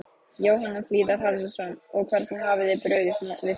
Jóhann Hlíðar Harðarson: Og hvernig hafið þið brugðist við því?